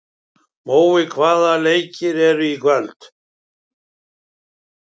Mói, hvaða leikir eru í kvöld?